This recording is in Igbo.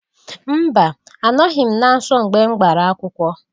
Mba! Anọghị m na nsọ mgbe m gbara akwụkwọ.